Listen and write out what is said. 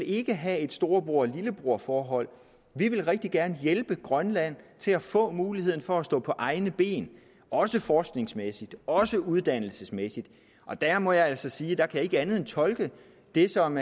ikke have et storebror lillebror forhold vi vil rigtig gerne hjælpe grønland til at få muligheden for at stå på egne ben også forskningsmæssigt også uddannelsesmæssigt og der må jeg altså sige at jeg ikke kan andet end tolke det som